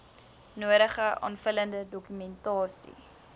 nodige aanvullende dokumentasie